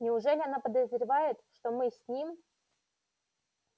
неужели она подозревает что мы с ним